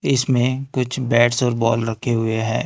इसमें कुछ बैट्स और बॉल रखे हुए हैं।